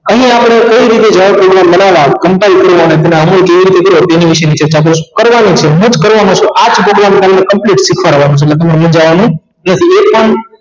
અહિયાં આપણે એ રીતે જાહેર કરી તેની વિષે ની ચર્ચા કરીશું કરવા‌ની છે હું જ કરવાનો છું આ જ program complete શિખવડવાનો છું ઍટલે તમારે મુંજવાનું